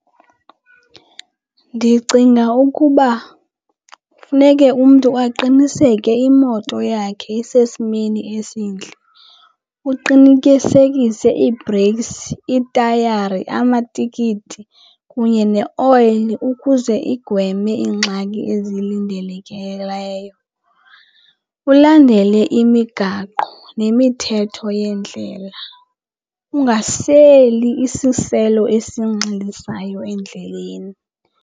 Ndicinga ukuba funeke umntu aqiniseke imoto yakhe isesimeni esintle uqinikisekise ii-breaks, itayari, amatikiti kunye neoyile ukuze igweme iingxaki ezilindelekileyo. Ulandele imigaqo nemithetho yeendlela, ungaseli isiselo esinxilisayo endleleni.